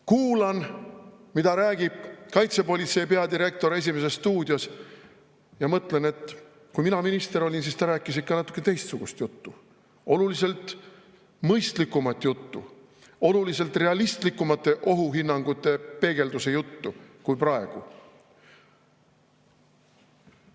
Kuulasin, mida rääkis kaitsepolitsei peadirektor "Esimeses stuudios", ja mõtlesin, et kui mina minister olin, siis ta rääkis ikka natuke teistsugust juttu, oluliselt mõistlikumat juttu, oluliselt realistlikumaid ohuhinnanguid peegeldavat juttu kui praegu.